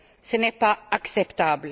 Ce n'est pas acceptable.